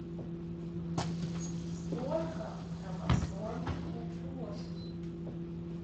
сколько хромосом у кошки